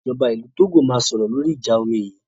Ìjọba ìlú Togo máa sọ̀rọ̀ lóri ìjà omi yìí.